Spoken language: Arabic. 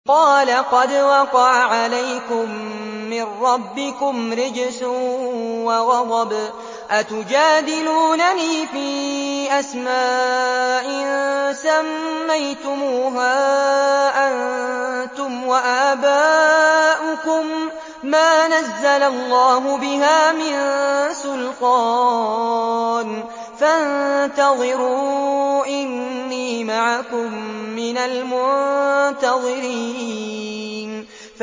قَالَ قَدْ وَقَعَ عَلَيْكُم مِّن رَّبِّكُمْ رِجْسٌ وَغَضَبٌ ۖ أَتُجَادِلُونَنِي فِي أَسْمَاءٍ سَمَّيْتُمُوهَا أَنتُمْ وَآبَاؤُكُم مَّا نَزَّلَ اللَّهُ بِهَا مِن سُلْطَانٍ ۚ فَانتَظِرُوا إِنِّي مَعَكُم مِّنَ الْمُنتَظِرِينَ